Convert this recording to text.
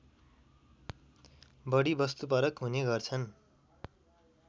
बढी वस्तुपरक हुने गर्छन्